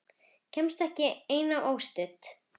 Kemst ekki ein og óstudd!